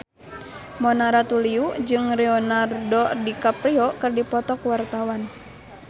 Mona Ratuliu jeung Leonardo DiCaprio keur dipoto ku wartawan